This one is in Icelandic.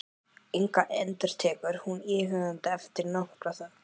Inga, endurtekur hún íhugandi eftir nokkra þögn.